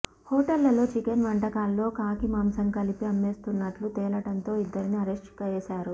హోటళ్లలో చికెన్ వంటకాల్లో కాకి మాంసం కలిపి అమ్మేస్తున్నట్లు తేలడంతో ఇద్దరిని అరెస్ట్ చేశారు